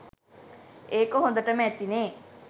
ඒක හොඳටම ඇතිනේ